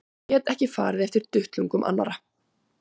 Og get ekki farið eftir duttlungum annarra.